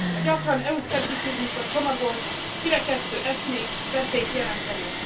A gyakran EU szkepticizmusba csomagolt, kirekesztő eszmék veszélyt jelentenek.